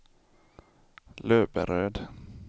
Löberöd